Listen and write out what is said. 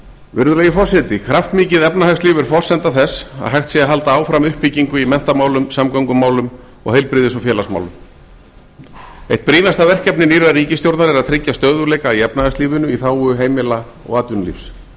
virðulegi forseti kraftmikið efnahagslíf er forsenda þess að hægt sé að halda áfram uppbyggingu í menntamálum samgöngumálum og heilbrigðis og félagsmálum eitt brýnasta verkefni nýrrar ríkisstjórnar er að tryggja stöðugleika í efnahagslífinu í þágu heimila og atvinnulífs